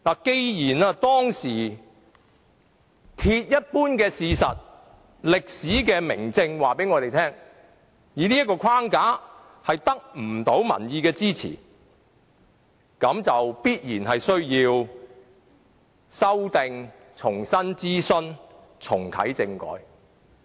既然這是當時鐵一般的事實，歷史的明證已告訴我們，以這個框架行事將得不到民意支持，必然需要修訂，重新諮詢，重啟政改。